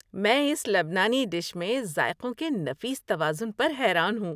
میں اس لبنانی ڈش میں ذائقوں کے نفیس توازن پر حیران ہوں۔